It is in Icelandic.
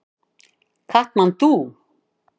Katmandú